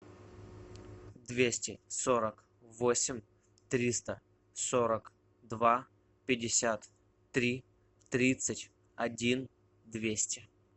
двести сорок восемь триста сорок два пятьдесят три тридцать один двести